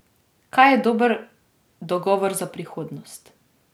Kaj je dober dogovor za prihodnost?